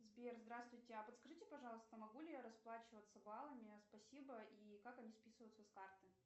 сбер здравствуйте а подскажите пожалуйста могу ли я расплачиваться баллами спасибо и как они списываются с карты